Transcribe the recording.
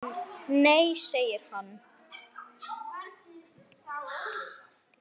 Nei segir hann.